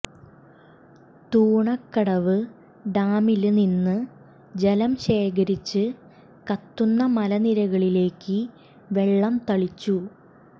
തൂണക്കടവ് ഡാമില് നിന്ന് ജലം ശേഖരിച്ച് കത്തുന്ന മലനിരകളിലേക്ക് വെള്ളം തളിച്ചു